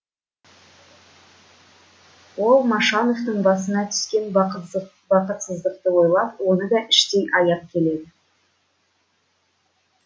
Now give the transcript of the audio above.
ол машановтың басына түскен бақытсыз бақытсыздықты ойлап оны да іштей аяп келеді